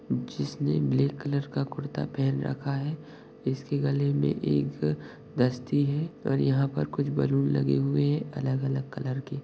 जिसने black colour का कुर्ता पेहन रखा है इसकी गले मे एक दस्ती है और यहा पर कुछ बलून लगे हुए है अलग-अलग कलर के।